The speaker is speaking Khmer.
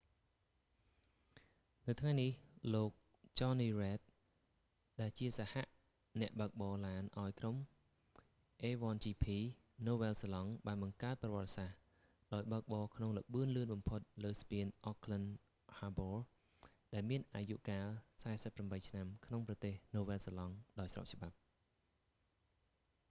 នៅថ្ងៃនេះ លោក jonny reid ចននី រ៉េឌ ដែលជាសហអ្នកបើកបរឡានឱ្យក្រុម a1gp ណូវែលហ្សេឡង់ បានបង្កើតប្រវត្តិសាស្ត្រ ដោយបើកបរក្នុងល្បឿនលឿនបំផុតលើស្ពាន auckland harbor ដែលមានអាយុកាល48 ឆ្នាំ ក្នុងប្រទេសនូវែលហ្សេឡង់ដោយស្របច្បាប់